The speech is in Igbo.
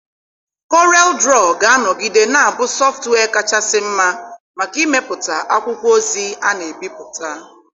Koreelụdro ga-anọgide na-abụ sọftụwia kachasị mma maka ịmepụta akwụkwọ ozi a na-ebipụta.